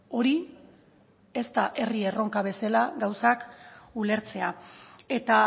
hori ez da herri erronka bezala gauzak ulertzea eta